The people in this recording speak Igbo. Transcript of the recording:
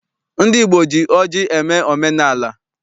Ndị Igbo ji ọjị eme omenaala.